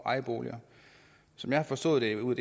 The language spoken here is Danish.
ejerboliger som jeg har forstået det ud